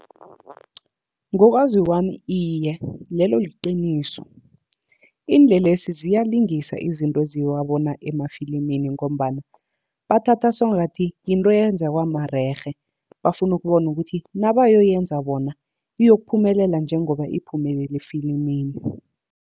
Ngokwazi kwami iye, lelo liqiniso iinlelesi ziyalingisa izinto eziwabona emafilimini, ngombana bathatha sengathi yinto eyenzakwa marerhe. Bafuna ukubona ukuthi nabayoyenza bona, iyokuphumelela njengoba iphumelele efilimini.